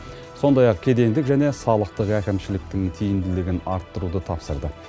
сондай ақ кедендік және салықтық әкімшіліктің тиімдігілін арттыруды тапсырды